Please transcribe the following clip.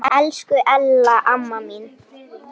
Elsku Ella amma mín.